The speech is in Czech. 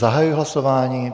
Zahajuji hlasování.